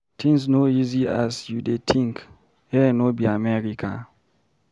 Things no easy as you dey think, here no be América.